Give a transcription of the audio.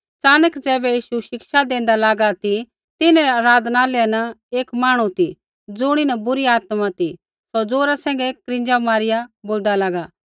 च़ानक ज़ैबै यीशु शिक्षा देंदा लागा ती तिन्हरै आराधनालय न एक मांहणु ती ज़ुणीन बुरी आत्मा ती सौ ज़ोरा सैंघै क्रींजा मारिया बोलदा लागा